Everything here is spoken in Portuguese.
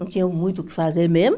Não tinha muito o que fazer mesmo.